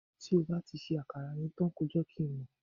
ti o ba ri se akara yen tan ko je kin mo